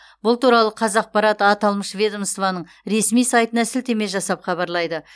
бұл туралы қазақпарат аталмыш ведомоствоның ресми сайтына сілтеме жасап хабарлайды